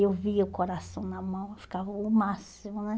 Eu via o coração na mão, eu ficava o máximo, né?